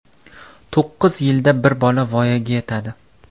To‘qqiz yilda bir bola voyaga yetadi.